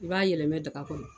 I b'a yɛlɛma daga kɔnɔ